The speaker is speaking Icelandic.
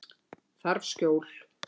Þarf skjól.